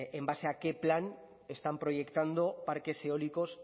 en base a qué plan están proyectando parques eólicos